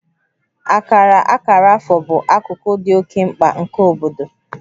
Akara akara afọ bụ akụkụ dị oke mkpa nke obodo